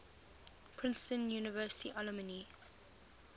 princeton university alumni